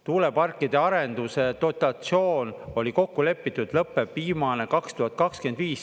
Tuuleparkide arenduse dotatsioon oli kokku lepitud, lõpeb viimane 2025.